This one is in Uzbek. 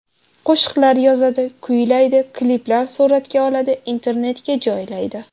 Qo‘shiqlar yozadi, kuylaydi, kliplar suratga oladi, internetga joylaydi.